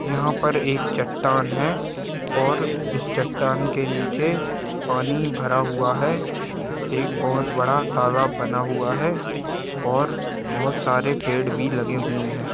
यहाँ पर एक चट्टान है और इस चट्टान के नीचे पानी भरा हुआ है एक बहुत बड़ा तालाब बना हुआ है और बहोत सारे पेड़ भी लगे हुए हैं।